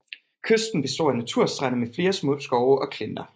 Kysten består af naturstrande med flere små skove og klinter